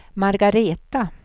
Margaretha